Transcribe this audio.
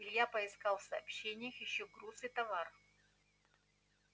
илья поискал в сообщениях ещё груз и товар